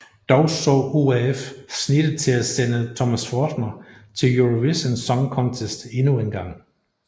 Dog så ORF snittet til at sende Thomas Forstner til Eurovision Song Contest endnu engang